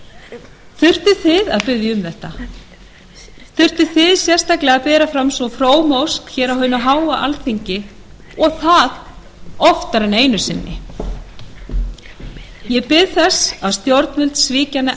að biðja um þetta þurftuð þið sérstaklega að bera fram svo fróma ósk á hinu háa alþingi og það oftar en einu sinni ég bið þess að stjórnvöld svíki hana